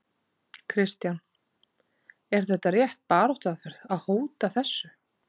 Kristján: Er þetta rétt baráttuaðferð, að hóta þessu?